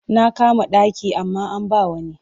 Na kama ɗaki amma an ba wa wani.